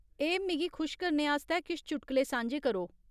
ए, मिगी खुश करने आस्तै किश चुटकले सांझे करो